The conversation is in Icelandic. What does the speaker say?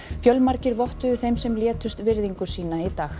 fjölmargir vottuðu þeim sem létust virðingu sína í dag